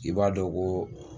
I b'a dɔn ko